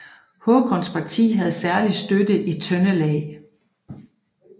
Håkons parti havde særlig støtte i Trøndelag